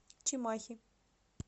чимахи